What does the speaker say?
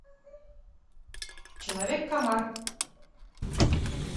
человек комар